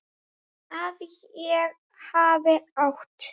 Að ég hafi átt?